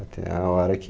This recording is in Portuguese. Até a hora que...